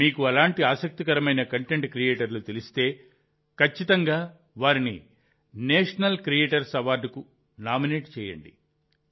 మీకు అలాంటి ఆసక్తికరమైన కంటెంట్ క్రియేటర్లు తెలిస్తే ఖచ్చితంగా వారిని నేషనల్ క్రియేటర్స్ అవార్డుకు నామినేట్ చేయండి